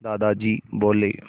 दादाजी बोले